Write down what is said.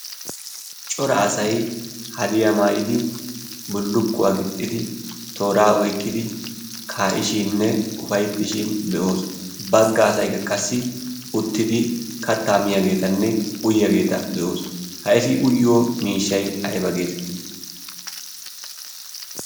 cora asai hadiyaa maayidi bullukkuwaa gixxidi tooraa oiqqidi kaa'ishiinne ufaittishin be'oos. bagga asayi ka qassi uttidi kattaa miyaageetanne uyyaageeta be'oos miishshai aiba geetettii?